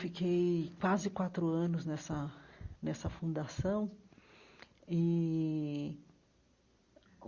Fiquei quase quatro anos nessa nessa fundação e.